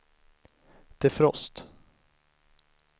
defrost